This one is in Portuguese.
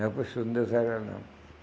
Aí o professor não deu zero a ela, não.